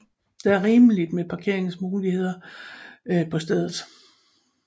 Der er rigeligt med parkeringsmuligheder på stedet